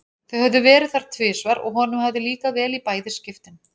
Þau höfðu verið þar tvisvar og honum hafði líkað vel í bæði skiptin.